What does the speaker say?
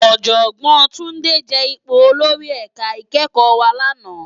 Òjògbòn Tunde je ipó ólórì èká ikèékò wá làná